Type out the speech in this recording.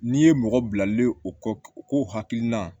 N'i ye mɔgɔ bilalen o kɔ u ko hakilina